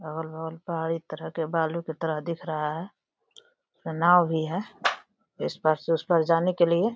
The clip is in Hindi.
अगल-बगल पहाड़ी की तरफ बालू की तरह दिख रहा है और नाव भी है इस पार से उस पार जाने के लिए।